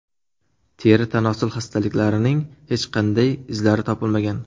Teri-tanosil xastaliklarining hech qanday izlari topilmagan.